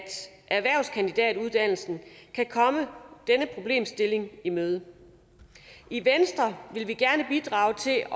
erhvervskandidatuddannelsen kan komme denne problemstilling i møde i venstre vil vi gerne bidrage til at